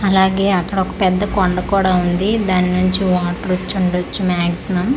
అలాగే అక్కడ ఒక పెద్ద కొండ కూడా ఉంది దానుంచి వాటర్ వచ్చి ఉండచ్చు మాక్షిమమ్ .